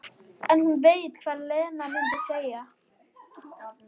En hún veit hvað Lena mundi segja.